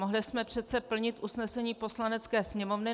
Mohli jsme přece plnit usnesení Poslanecké sněmovny.